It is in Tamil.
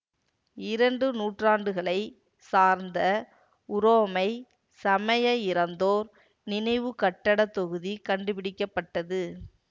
இரண்டு நூற்றாண்டுகளைச் சார்ந்த உரோமை சமய இறந்தோர் நினைவு கட்டட தொகுதி கண்டுபிடிக்க பட்டது